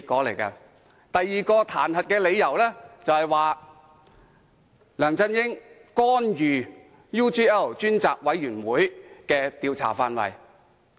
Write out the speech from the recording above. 他們提出的另一個彈劾理由，是梁振英干預調查 UGL 事件專責委員會的調查範圍。